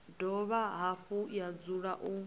dovha hafhu ya dzula u